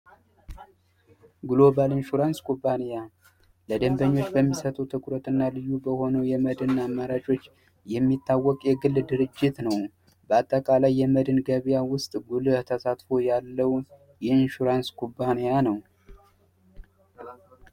ግሎባል ኢንሹራንስ ኩባንያ ለደንበኞች በሚሰጠው ትኩረት እና ልዩ በሆነው የመድና አማራጮች የሚታወቅ የግል ድርጅት ነው። በአጠቃላይ የመድን ገብያ ውስጥ ጉልህ ተሳትፎ ያለው የኢንሹራንስ ኩባንያ ነው።